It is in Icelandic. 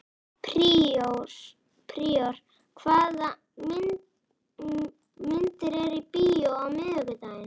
Príor, hvaða myndir eru í bíó á miðvikudaginn?